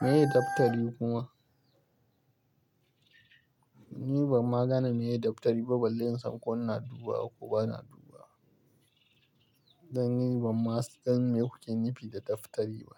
Meye daftari kuma? Ni ban magana meye daftari ba, ban de in san ko ana duba ko ba ana duba. Dan ni ban ma san me kuke nufi da daftari ba.